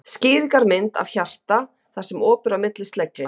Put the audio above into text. Skýringarmynd af af hjarta þar sem op er á milli slegla.